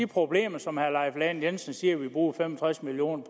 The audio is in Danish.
problemer som herre leif lahn jensen siger vi bruger fem og tres million